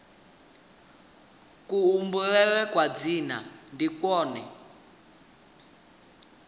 kubulele kwa dzina ndi kwone